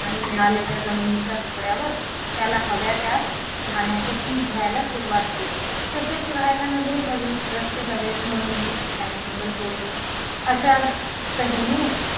आणि मिळालेल्या जमिनीच्या तुकड्यावर त्याला हव्या त्या धान्याचे पीक घ्यायला सुरुवात केली तसेच राहायला नगरी हवीत रस्त्या हवेत म्हणूनही त्याने जंगले तोडली अशा तऱ्हेने